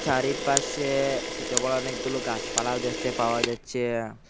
চারিপাশে সোট বড় অনেকগুলো গাসপালাও দেখতে পাওয়া যাচ্ছে।